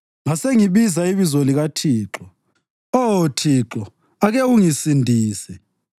Ngasengibiza ibizo likaThixo : “Oh Thixo ake ungisindise!”